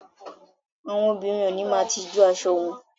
Àwọn òbinrín ó ni máà tijú aṣọ wọn